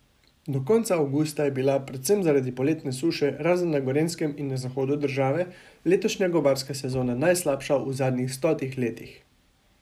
Do konca avgusta je bila, predvsem zaradi poletne suše, razen na Gorenjskem in na zahodu države, letošnja gobarska sezona najslabša v zadnjih stotih letih.